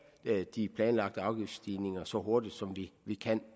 af de planlagte afgiftsstigninger så hurtigt som vi kan